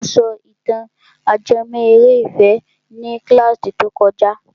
Ó sọ ìtàn ajẹmọ́ eré ìfẹ́ ní kílàsì tó kojá.